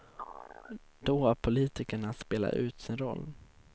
Då har politikerna spelat ut sin roll.